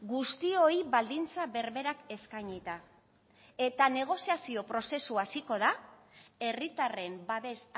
guztioi baldintza berberak eskainita eta negoziazio prozesua hasiko da herritarren babes